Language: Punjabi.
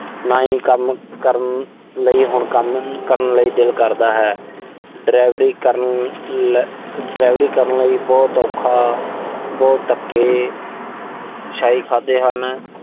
ਨਾ ਹੀ ਕੰਮ ਕਰਨ ਲਈ। ਹੁਣ ਕੰਮ ਕਰਨ ਲਈ ਦਿਲ ਕਰਦਾ ਹੈ। ਡਰਾਇਵਰੀ ਕਰਨ ਲ ਅਹ ਡਰਾਇਵਰੀ ਕਰਨ ਲਈ ਬਹੁਤ ਔਖਾ, ਬਹੁਤ ਧੱਕੇ ਸ਼ਾਹੀ